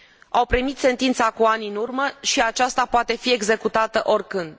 Au primit sentința cu ani în urmă și aceasta poate fi executată oricând.